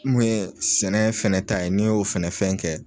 N mu ye sɛnɛ fɛnɛ ta ye n'i y'o fɛnɛ fɛn kɛ